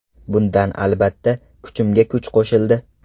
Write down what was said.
Bundan albatta, kuchimga kuch qo‘shildi.